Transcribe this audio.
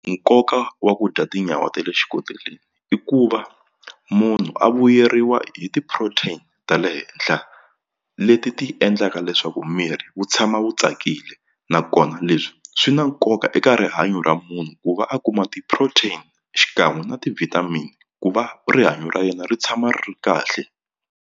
Nkoka wa ku dya tinyawa te le xikoteleni i ku va munhu a vuyeriwa hi ti-protein ta le henhla leti ti endlaka leswaku miri wu tshama wu wu tsakile nakona leswi swi na nkoka eka rihanyo ra munhu ku va a kuma ti-protein xikan'we na ti-vitamin ku va rihanyo ra yena ri tshama ri ri kahle.